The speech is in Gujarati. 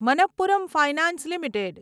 Manappuram finance limited